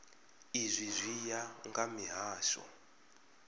izwi zwi ya nga mihasho